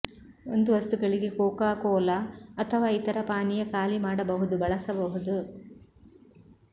ಒಂದು ವಸ್ತುಗಳಿಗೆ Coca Cola ಅಥವಾ ಇತರ ಪಾನೀಯ ಖಾಲಿ ಮಾಡಬಹುದು ಬಳಸಬಹುದು